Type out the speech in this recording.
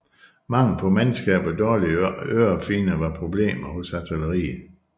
Mangel på mandskab og dårlige ørefigner var problemer hos artilleriet